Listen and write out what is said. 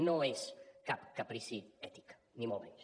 no és cap caprici ètic ni molt menys